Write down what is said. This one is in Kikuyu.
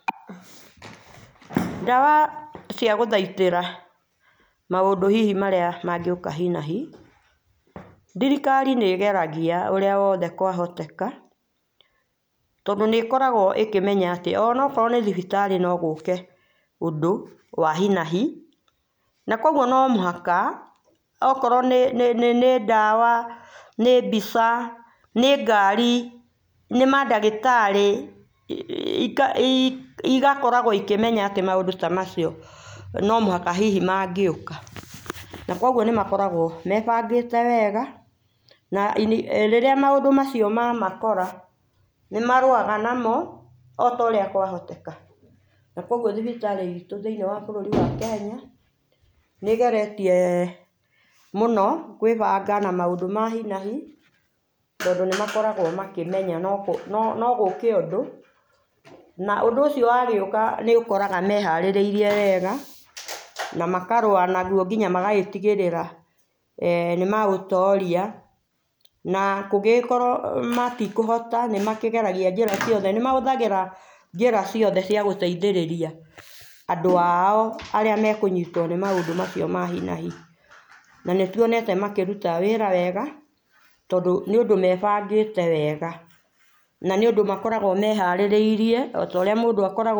Ndawa cia gũthaitĩra maũndũ hihi mangĩũka hina hi, thirikari nĩ ĩgeragia ũria wothe kwa hoteka tondũ nĩĩkoragwo ĩkĩmenya atĩ ona okorwo nĩ thibitari no gũke ũndũ wa hina hi na kũogũo no mũhaka okorwo nĩ nĩ ndawa, nĩ mbica, nĩ ngari, nĩ madagĩtarĩ igo i gakorwagwo ĩkĩmenya atĩ maũndũ ta macio no mũhaka hihi mangĩũka na kũogũo nĩ makoragwo mebangĩte wega na rĩrĩa maũndũ macio mamakora nĩmarũaga namo otaũrĩa kwa hoteka, na kũogũo thibitarĩ itũ thĩinĩ wa bũrũrĩ wĩtũ wa kenya nĩ ĩgeretie mũno kwĩbanga na maũndũ ma hina hitondũ nĩmakoragwo makĩmenya no gũke ũndũ na ũndũ ũcio wagĩũka nĩ nĩũkoraga meharĩrĩie wega na makarũa na rũo nginya magagĩtigĩrĩra eeh nĩmaũtoria na kũngĩgĩkorwo matĩkũhota nĩ makĩggeragia njĩĩra ciothe nĩ mahũthagĩra njĩra ciothe cia gũteithĩrĩria andũ ao arĩa mekũnyitwo nĩ maũndũ macio ma hina hi na nĩtũonete makĩrũta wĩra wega tondũ nĩ ũndũ mebangite wega na nĩ ũndũ makoragwo meharĩrĩie otorĩa mũndũ akoragwo.